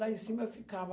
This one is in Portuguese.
Lá em cima eu ficava...